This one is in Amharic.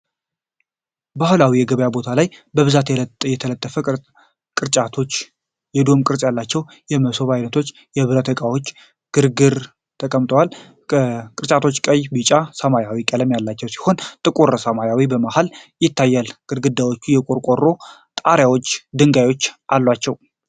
ባህላዊ የገበያ ቦታ ላይ በብዛት የተጠለፉ ቅርጫቶች፣ የዶም ቅርጽ ያላቸው የመሶብ ዓይነቶችና የብረት ዕቃዎች በግርግር ተቀምጠዋል። ቅርጫቶቹ ቀይ፣ ቢጫ እና ሰማያዊ ቀለም ያላቸው ሲሆኑ፣ ጥቂት ሰዎች በመሃል ይታያሉ። ግድግዳዎቹ የቆርቆሮ ጣሪያና ድንጋዮች አላቸው።